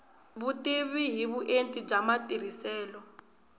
vutivi hi vuenti bya matirhiselo